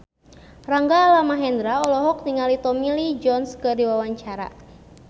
Rangga Almahendra olohok ningali Tommy Lee Jones keur diwawancara